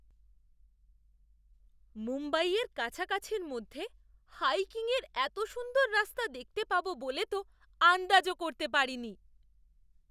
মুম্বইয়ের কাছাকাছির মধ্যে হাইকিংয়ের এত সুন্দর রাস্তা দেখতে পাবো বলে তো আন্দাজও করতে করিনি!